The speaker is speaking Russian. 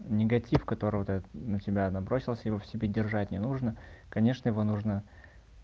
негатив который вот этот на тебя набросился его в себе держать не нужно конечно его нужно